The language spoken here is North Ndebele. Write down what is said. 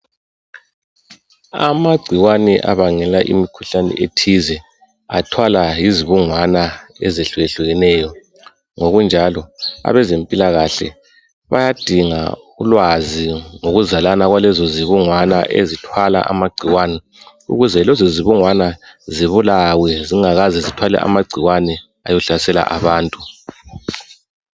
Amagcikwane abangela imikhuhlane ethize athwalwa yizibungwana ezehluyehlukeneyo, ngokunjalo, abezimpilakahle bayazinga ulwazi ngokuzalana kwalezo zibungwana ezithwala amagcikwane ukuze lezo zibungwana zibulawe zingakaze zithwale amagcikwane ayehlasela abantu.